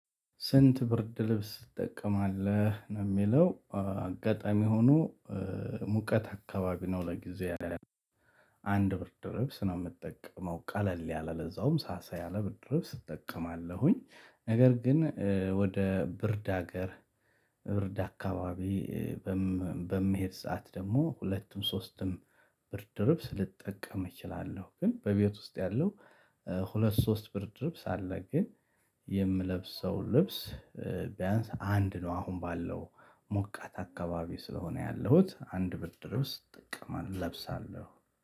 ስንት? ብርድ ልብስ ትጠቀማለህ የሚለው አጋጣሚ ሁኖ ሙቀት አካባቢ ነውለጊዜው ያለን አንድ በርድ ልብስ ነው ምጠቀመው ቀለል ያለ ለዛውም ሰሳ ያለ ብርድ ልብስ እጠቀማለሁኝ። ነገረ ግን ወደ ብርድ ሀገር ብርድ አካባቢ መሀበምሄድ ሰዓት ደግሞ ሁለትም ሶስትም ብርድ ልብስ ልጠቀም እችላለሁ። በቤት ግን ውስጥ ያለው ሁለት ሶስት ብርድ ልብስ አለ። ግን የምለብሰው ልብስ ቢያንስ አንድ ነው። አሁን ባለው ሙቀት አካባቢ ስለሆነ ያለሁት አንድ ብርድ ልብስ እጠቀማለሁ እለብሳለሁ